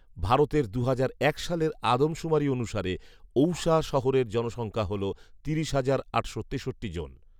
ভারতের দুহাজার এক সালের আদমশুমারি অনুসারে ঔসা শহরের জনসংখ্যা হল তিরিশ হাজার আটশো তেষট্টি জন